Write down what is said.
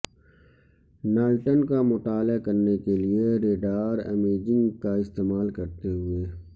Titan کا مطالعہ کرنے کے لئے رڈار امیجنگ کا استعمال کرتے ہوئے